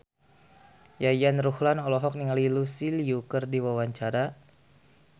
Yayan Ruhlan olohok ningali Lucy Liu keur diwawancara